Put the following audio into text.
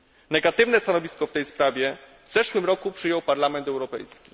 Negatywne stanowisko w tej sprawie w zeszłym roku przyjął Parlament Europejski.